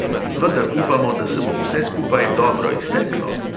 Vendar upamo, da se bo vse skupaj dobro izteklo.